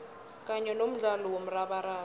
kanye nomdlalo womrabaraba